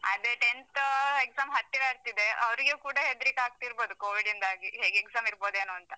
ಅದೇ tenth exam ಹತ್ತಿರ ಬರ್ತಿದೆ, ಅವ್ರಿಗೆ ಕೂಡ ಹೆದ್ರಿಕೆ ಆಗ್ತಿರ್ಬೋದು covid ಯಿಂದಾಗಿ. ಹೇಗೆ exam ಇರುಬೋದೇನೋ ಅಂತ.